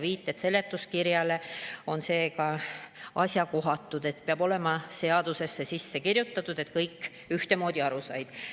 Viited seletuskirjale on seega asjakohatud, peab olema seadusesse kirjutatud, et kõik ühtemoodi aru saaksid.